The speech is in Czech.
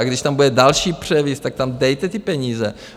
A když tam bude další převis, tak tam dejte ty peníze.